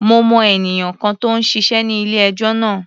Mo mọ ènìyàn kan tó ń ṣiṣé ní ilé-ẹjọ́ náà.